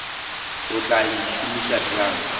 o tla e šomiša bjang